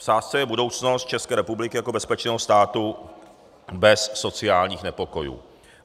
V sázce je budoucnost České republiky jako bezpečného státu bez sociálních nepokojů.